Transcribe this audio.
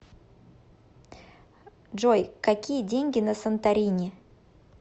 джой какие деньги на санторини